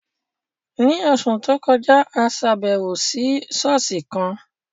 Ní oṣù tó kọjá, a ṣàbẹ̀wò sí ṣọ́ọ̀ṣì kan